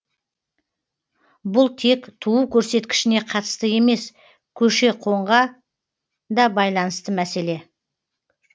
бұл тек туу көрсеткішіне қатысты емес көші қонға да байланысты мәселе